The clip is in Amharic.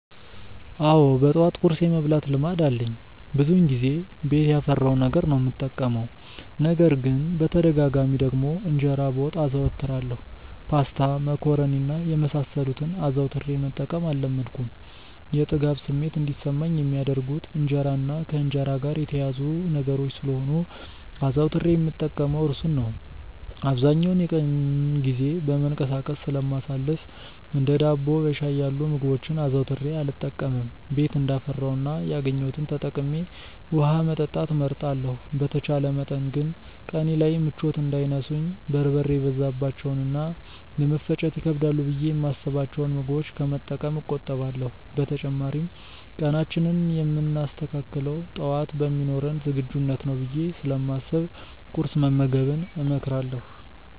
አዎ በጠዋት ቁርስ የመብላት ልማድ አለኝ። ብዙውን ጊዜ ቤት ያፈራውን ነገር ነው የምጠቀመው። ነገር ግን በተደጋጋሚ ደግሞ እንጀራ በወጥ አዘወትራለሁ። ፓስታ፣ መኮሮኒ እና የመሳሰሉትን አዘውትሬ መጠቀም አልለመድኩም። የጥጋብ ስሜት እንዲሰማኝ የሚያደርጉት እንጀራ እና ከእንጀራ ጋር የተያያዙ ነገሮች ስለሆኑ አዘውትሬ የምጠቀመው እርሱን ነው። አብዛኛውን የቀኑን ጊዜ በመንቀሳቀስ ስለማሳልፍ እንደ ዳቦ በሻይ ያሉ ምግቦችን አዘውትሬ አልጠቀምም። ቤት እንዳፈራው እና ያገኘሁትን ተጠቅሜ ውሀ መጠጣት እመርጣለሁ። በተቻለ መጠን ግን ቀኔ ላይ ምቾት እንዳይነሱኝ በርበሬ የበዛባቸውን እና ለመፈጨት ይከብዳሉ ብዬ የማስብቸውን ምግቦች ከመጠቀም እቆጠባለሁ። በተጨማሪም ቀናችንን የምናስተካክለው ጠዋት በሚኖረን ዝግጁነት ነው ብዬ ስለማስብ ቁርስ መመገብን እመክራለሁ።